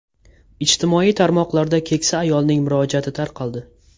Ijtimoiy tarmoqlarda keksa ayolning murojaati tarqaldi.